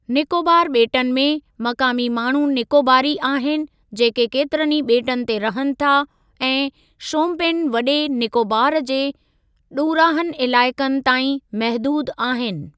निकोबार ॿेटनि में, मक़ामी माण्हू निकोबारी आहिनि, जेके केतिरनि ई ॿेटनि ते रहनि था, ऐं शोम्पेन वॾे निकोबार जे ॾुरांहनि इलाइक़नि ताईं महिदूदु आहिनि।